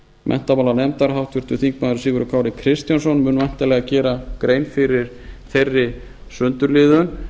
menntamálanefndar háttvirtur þingmaður sigurður kári kristjánsson mun væntanlega gera grein fyrir þeirri sundurliðun